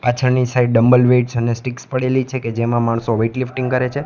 પાછળની side dumbbell weights અને sticks પડેલી છે કે જેમાં માણસો વેઇટ લિફ્ટિંગ કરે છે.